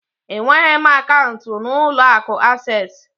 Enweghị m akaụntụ n'ụlọ akụ Asés